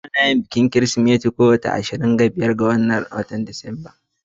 Ana bikin Kirsimeti a kowace ranar ishirin da biyar na Disemba